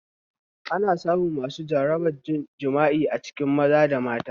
Ana samun masu jarabar jima'i a cikin maza da mata